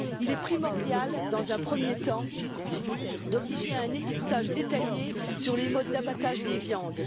Il est primordial, dans un premier temps, de rendre obligatoire un étiquetage détaillé sur les modes d'abattage des viandes.